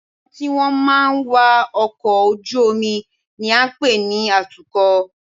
Àwọn tí wọ́n máa ń wa ọkọ̀ ojú-omi ni à ń pè ní atukọ̀